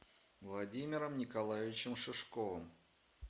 владимиром николаевичем шишковым